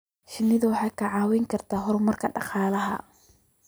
Shinnidu waxay kicin kartaa horumarka dhaqaalaha.